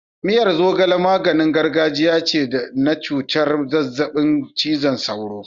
Miyar zogale maganin gargajiya ce na cutar zazzabin cizon sauro.